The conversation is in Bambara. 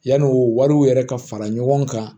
Yanni u wariw yɛrɛ ka fara ɲɔgɔn kan